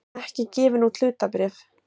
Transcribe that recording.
ekki gefin út hlutabréf.